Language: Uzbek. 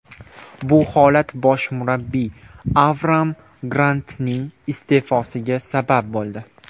Bu holat bosh murabbiy Avraam Grantning iste’fosiga sabab bo‘ldi.